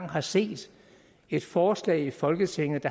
har set et forslag i folketinget